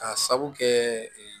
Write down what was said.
K'a sabu kɛ